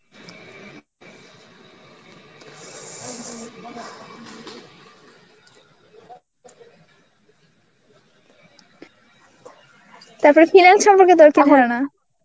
তারপরে finance সম্পর্কে তোর কি ধারণা?